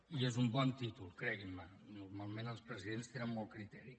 i és un bon títol creguin me normalment els presidents tenen molt criteri